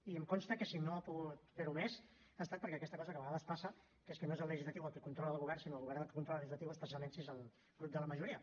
i em consta que si no ha pogut fer ho més ha estat per aquesta cosa que a vegades passa que és que no és el legislatiu el que controla el govern sinó el govern el que controla el legislatiu especialment si és el grup de la majoria